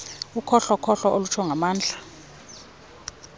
ukhohlokhohlo olutsho ngamandla